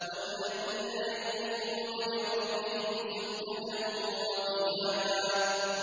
وَالَّذِينَ يَبِيتُونَ لِرَبِّهِمْ سُجَّدًا وَقِيَامًا